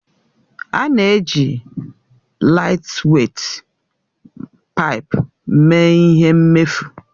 A na-eji laịtweit paipu mee ihe mmefu.